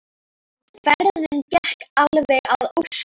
Ferðin gekk alveg að óskum.